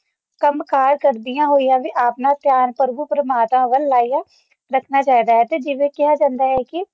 ਕੰਮਕਾਰ ਕਰਦੀਆਂ ਹੋਈਆਂ ਤੇ ਆਪਣਾ ਧਿਆਨ ਪ੍ਰਭੂ-ਪਰਮਾਤਮਾ ਬਣਾਈ ਰੱਖਣਾ ਚਾਹੀਦਾ ਹੈ ਕਿ ਜਿਵੇਂ ਕਿਹਾ ਜਾਂਦਾ ਹੈ ਕਿ